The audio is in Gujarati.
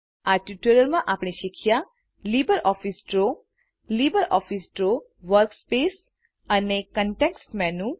આ ટ્યુટોરીઅલમાં આપણે શીખ્યા160 LibreOffice Draw LibreOffice Draw workspace અને કન્ટેક્સ્ટ મેનુ